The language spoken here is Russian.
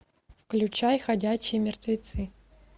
включай ходячие мертвецы